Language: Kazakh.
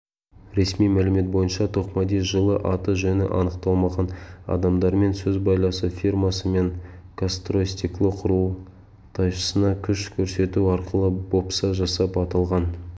ресми мәлімет бойынша тоқмади жылы аты-жөні анықталмаған адамдармен сөз байласып фирмасы мен казстройстекло құрылтайшысына күш көрсету арқылы бопса жасап аталған